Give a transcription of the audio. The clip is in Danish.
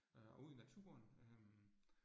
Øh og ud i naturen øh